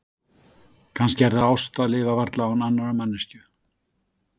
Kannski er það ást að lifa varla án annarrar manneskju.